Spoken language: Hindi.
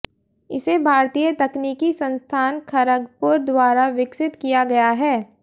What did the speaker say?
इसे भारतीय तकनीकी संस्थान खरगपुर द्वारा विकसित किया गया है